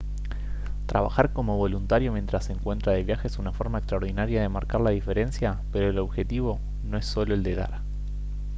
trabajar como voluntario mientras se encuentra de viaje es una forma extraordinaria de marcar la diferencia pero el objetivo no es solo el de dar